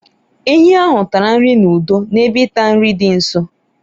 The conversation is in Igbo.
ehi ahụ tara nri n'udo n'ebe ịta nri dị nso